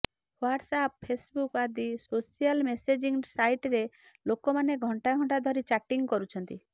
WhatsApp Facebook ଆଦି social messaging ସାଇଟରେ ଲୋକମାନେ ଘଣ୍ଟା ଘଣ୍ଟା ଧରି ଚାଟିଂ କରୁଛନ୍ତି